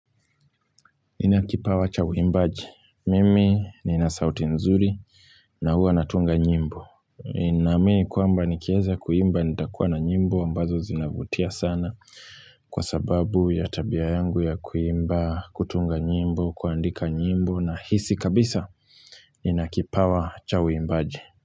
Ina kipawa cha uimbaji Mimi ni nasauti nzuri na huwa natunga nyimbo Ninaamini kwamba nikianza kuimba nitakuwa na nyimbo ambazo zinavutia sana kwa sababu ya tabia yangu ya kuimba, kutunga nyimbo, kuandika nyimbo nahisi kabisa inakipawa cha uimbaji.